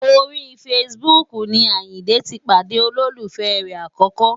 Orí Facebook ni Àyìndé ti pàdé olólùfẹ́ rẹ̀ àkọ́kọ́.